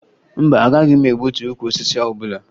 Mba, agaghị m egbutu ukwu osisi ọbụla